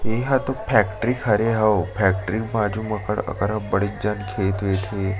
एहा तो फैक्ट्री हरे अऊ फैक्ट्री के बाज़ू म अकरहा बड़े जान खेत वेत हे।